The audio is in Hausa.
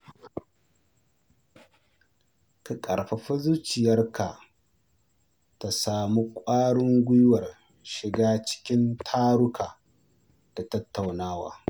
Ka ƙarfafi zuciyar ka ta samu ƙwarin guiwar shiga cikin taruka da tattaunawa.